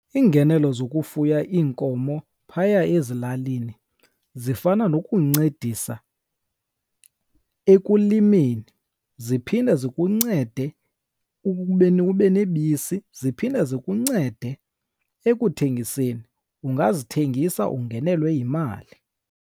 Iingenelo zokufuya iinkomo phaya ezilalini zifana nokuncedisa ekulimeni, ziphinde zikuncede ekubeni ube nebisi, ziphinde zikuncede ekuthengiseni, ungazithengisa ungenelelwe yimali.